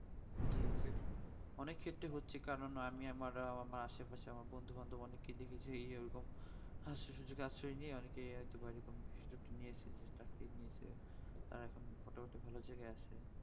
অনেক ক্ষেত্রে হচ্ছে কারণ আমি আমার মা সে পাশের বন্ধু বান্ধব অনেক কিছু বুঝে ই ওই রকম আশ্রয় নিয়ে অনেক তারা এখন মোটামুটি ভালো জায়গায় আছে